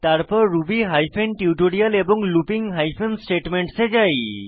তারপর Ruby hyphen tutorial এবং looping hyphen statements এ যাই